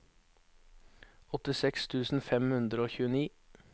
åttiseks tusen fem hundre og tjueni